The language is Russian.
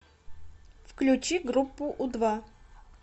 включи группу у два